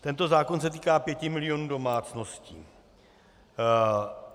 Tento zákon se týká pěti milionů domácností.